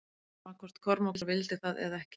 Sama hvort Kormákur vildi það eða ekki.